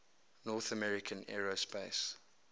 north american aerospace